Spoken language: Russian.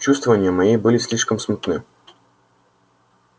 чувствования мои были слишком смутны